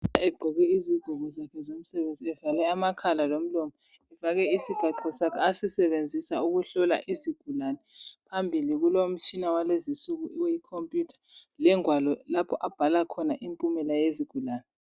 ... egqoke izigqoko zakhe, evale amakhala lomlomo, efake isigaxo sake asisebenzisa ukuhlola izigulane. Phambili kulomtshina yalezinsuku, ikhompuyutha lengwalo lapho abhala khona impumela yezigulane.